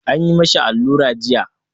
An yi ma shi allura jiya.